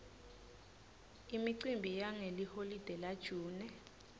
imicimbi yangeliholide la june